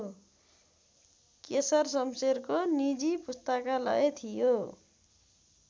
केशर सम्शेरको निजी पुस्तकालय थियो